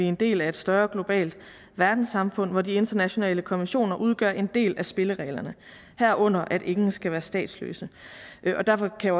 en del af et større globalt verdenssamfund hvor de internationale konventioner udgør en del af spillereglerne herunder at ingen skal være statsløse derfor kan